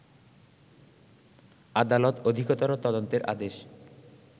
আদালত অধিকতর তদন্তের আদেশ